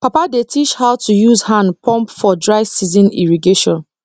papa dey teach how to use hand pump for dry season irrigation